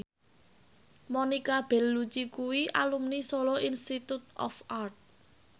Monica Belluci kuwi alumni Solo Institute of Art